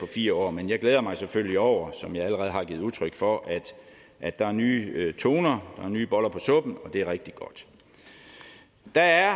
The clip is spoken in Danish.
fire år men jeg glæder mig selvfølgelig over som jeg allerede har givet udtryk for at der er nye toner nye boller på suppen det er rigtig godt der er